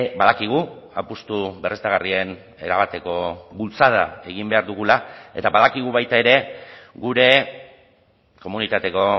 badakigu apustu berriztagarrien erabateko bultzada egin behar dugula eta badakigu baita ere gure komunitateko